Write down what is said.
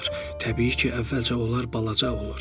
Təbii ki, əvvəlcə onlar balaca olur.